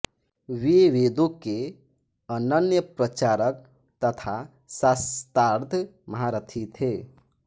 वे वेदों के अनन्य प्रचारक तथा शास्त्रार्थ महारथी थे